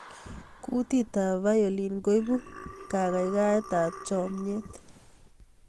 kutit ap violin koibu kakaikaet ap chamyet